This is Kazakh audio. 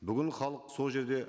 бүгін халық сол жерде